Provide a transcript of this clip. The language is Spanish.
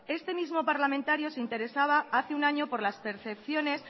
este mismo parlamentario se interesaba hace un año por las percepciones